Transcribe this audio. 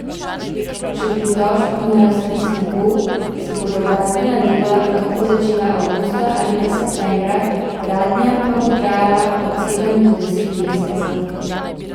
Če pritožb na razpis ne bo, se bodo gradbena dela lahko začela avgusta ali pa septembra, gradnja pa bo trajala od sedem do deset mesecev.